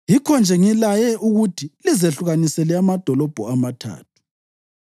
Yikho-nje ngilaye ukuthi lizehlukanisele amadolobho amathathu.